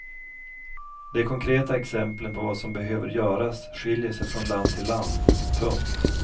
De konkreta exemplen på vad som behöver göras skiljer sig från land till land. punkt